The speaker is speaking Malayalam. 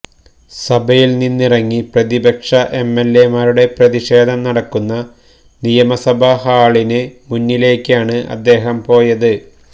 സഭയിൽനിന്നിറങ്ങി പ്രതിപക്ഷ എംഎൽഎമാരുടെ പ്രതിഷേധം നടക്കുന്ന നിയമസഭാ ഹാളിന് മുന്നിലേക്കാണ് അദ്ദേഹം പോയത്